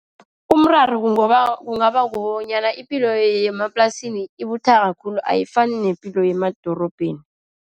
Umraro kungaba kukobanyana ipilo yemaplasini ibuthaka khulu. Ayifani nepilo yemadorobheni.